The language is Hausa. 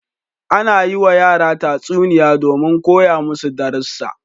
Ana yiwa yara tatsuniya domin koya masu darussa.